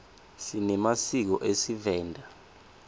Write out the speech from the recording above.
sinemasiko esivenda